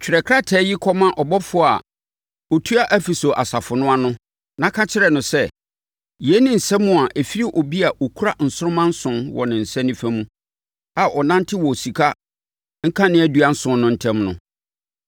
“Twerɛ krataa yi kɔma ɔbɔfoɔ a ɔtua Efeso asafo no ano, na ka kyerɛ no sɛ: Yei ne nsɛm a ɛfiri obi a ɔkura nsoromma nson wɔ ne nsa nifa mu a ɔnante wɔ sika nkaneadua nson no ntam no.